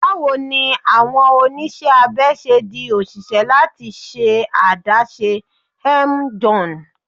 Bawo ni awọn oniṣẹ abẹ ṣe di oṣiṣẹ lati ṣe adaṣe?m John